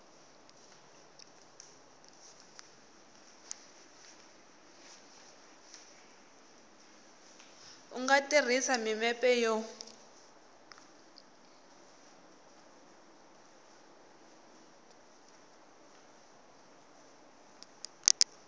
u nga tirhisa mimepe yo